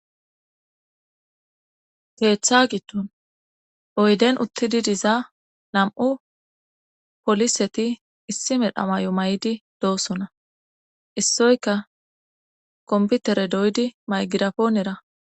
Keeththa gitton oyden uttidi diza nam'u poliseti issi medhamay'o may'di doosona issoyka komputere doydi maygirapoonera